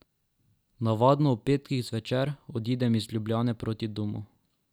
Navadno ob petkih zvečer odidem iz Ljubljane proti domu.